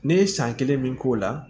Ne ye san kelen min k'o la